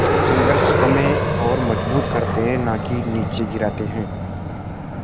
संघर्ष हमें और मजबूत करते हैं नाकि निचे गिराते हैं